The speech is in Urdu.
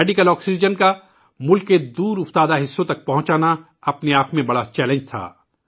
ملک کے دور دراز علاقوں تک میڈیکل آکسیجن پہنچانا ایک بہت بڑا چیلنج تھا